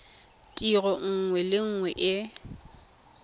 tiro nngwe le nngwe e